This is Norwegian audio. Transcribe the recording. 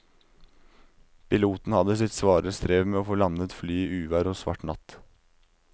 Piloten hadde sitt svare strev med å få landet flyet i uvær og svart natt.